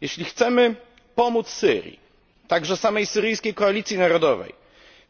Jeśli chcemy pomóc Syrii, a także samej Syryjskiej Koalicji Narodowej,